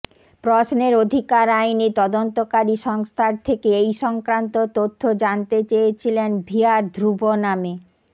প্রশ্নের অধিকার আইনে তদন্তকারী সংস্থার থেকে এই সংক্রান্ত তথ্য জানতে চেয়েছিলেন ভিহার ধ্রুব নামে